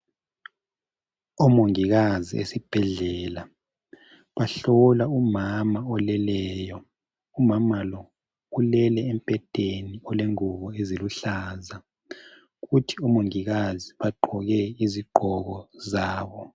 Omongikazi esibhedlela bahlola umama oleleyo. Umama lo ulele embhedeni olengubo eziluhlaza. Kuthi omongikazi bagqoke izigqoko zabo.